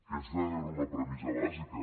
aquesta era una premissa bàsica